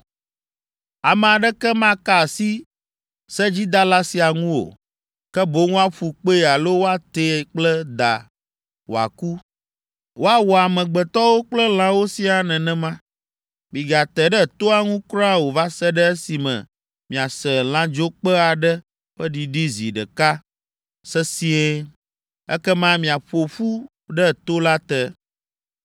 Ame aɖeke maka asi sedzidala sia ŋu o, ke boŋ woaƒu kpee alo woatee kple da wòaku. Woawɔ amegbetɔwo kple lãwo siaa nenema.’ Migate ɖe toa ŋu kura o va se ɖe esime miase lãdzokpẽ aɖe ƒe ɖiɖi zi ɖeka sesĩe. Ekema miaƒo ƒu ɖe to la te!”